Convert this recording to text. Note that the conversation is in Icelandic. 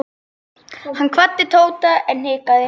Hann kvaddi Tóta en hikaði.